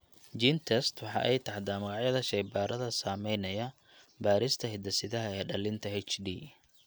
GeneTests waxa ay taxdaa magacyada shaybaadhada samaynaya baadhista hidde-sidaha ee dhallinta HD.